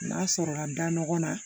N'a sɔrɔ ka da ɲɔgɔn na